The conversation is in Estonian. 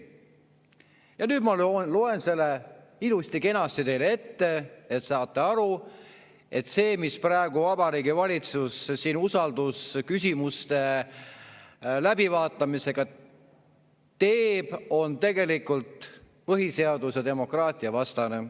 Ja nüüd ma loen selle ilusti-kenasti teile ette, et saaksite aru, et see, mis praegu Vabariigi Valitsus siin teeb eelnõusid usaldusküsimusega sidumise kaudu läbi surudes, on tegelikult põhiseadus‑ ja demokraatiavastane.